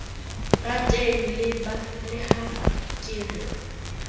rateng le ha ke re